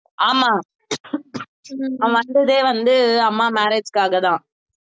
ஆமா அவன் வந்ததே வந்து அம்மா marriage க்காக தான்